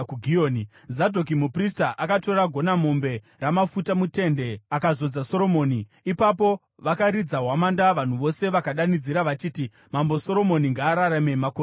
Zadhoki muprista akatora gonamombe ramafuta mutende akazodza Soromoni. Ipapo vakaridza hwamanda vanhu vose vakadanidzira vachiti, “Mambo Soromoni ngaararame makore akawanda!”